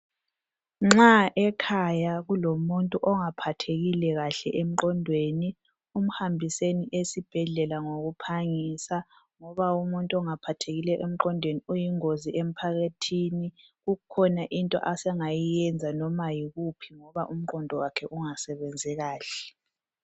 Nxa ekhaya kulomuntu ongaphathekile kahle emqondweni, mhambiseni esibhedlela ngokuphangisa ngoba umuntu ongaphathekile emqondweni uyingozi emphakathini. Kukhona into asengayenza noma yikuphi ngoba umqondo wakhe ungasebenzi kahle.